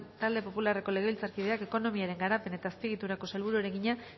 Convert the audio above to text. talde popularreko legebiltzarkideak ekonomiaren garapen eta azpiegituretako sailburuari egina